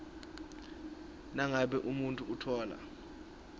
nangabe umuntfu utfola